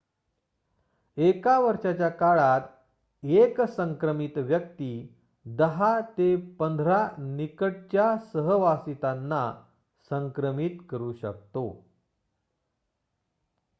एका वर्षाच्या काळात एक संक्रमित व्यक्ती 10 ते 15 निकटच्या सहवासितांना संक्रमित करु शकतो